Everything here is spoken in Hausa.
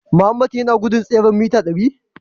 Mohammed yana guje tseren mita dari?